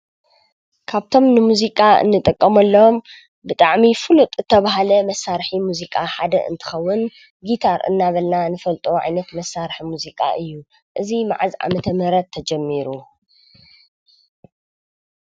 ካብቶም ንሙዚቃ እንጥቀመሎም ብጣዕሚ ፍሉጥ ዝተባህለ መሳርሒ ሙዚቃ ሓደ እንትኸውን ጊታር እናበልና ንፈልጦ ዓይነት መሳርሒ ሙዚቃ እዩ። እዚ መዓዝ ዓ/ም ተጀሚሩ?